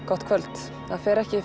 gott kvöld það fer ekki